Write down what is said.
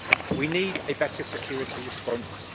We need a better security response.